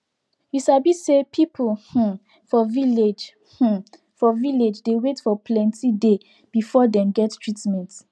you sabi say people hmm for village hmm for village dey wait for plenti day before dey get treatment